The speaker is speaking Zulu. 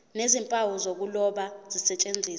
nezimpawu zokuloba zisetshenziswe